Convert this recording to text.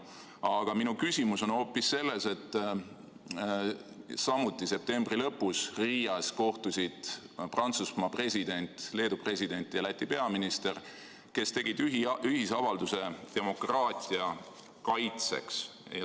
Aga minu küsimus on hoopis selle kohta, et Riias kohtusid samuti septembri lõpus Prantsusmaa president, Leedu president ja Läti peaminister, kes tegid ühisavalduse demokraatia kaitseks.